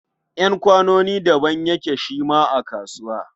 Ƴan kwanoni daban yake shi ma a kasuwa.